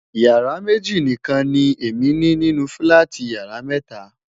yàrá méjì nikan ni Emi ni nínú filati yàrá méta